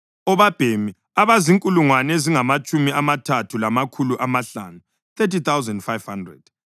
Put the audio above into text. obabhemi abazinkulungwane ezingamatshumi amathathu lamakhulu amahlanu (30, 500)